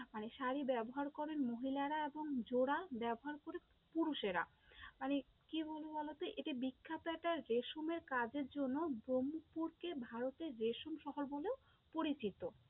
মানে শাড়ি ব্যবহার করেন মহিলারা এবং জোড়া ব্যবহার করে পুরুষেরা, মানে কি বলি বলো তো? এটি বিখ্যাত একটা রেশমের কাজের জন্য ব্রহ্মপুরকে ভারতের রেশম শহর বলেও পরিচিত।